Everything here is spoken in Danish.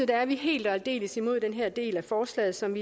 er vi helt og aldeles imod den her del af forslaget som